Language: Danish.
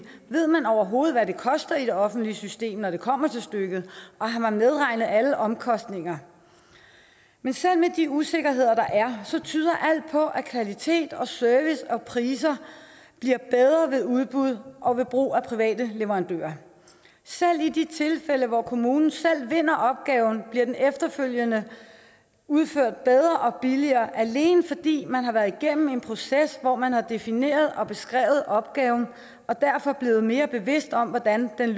ved man overhovedet hvad det koster i det offentlige system når det kommer til stykket og har man medregnet alle omkostninger men selv med de usikkerheder der er så tyder alt på at kvalitet service og priser bliver bedre ved udbud og brug af private leverandører selv i de tilfælde hvor kommunen selv vinder opgaven bliver den efterfølgende udført bedre og billigere alene fordi man har været igennem en proces hvor man har defineret og beskrevet opgaven og derfor er blevet mere bevidst om hvordan den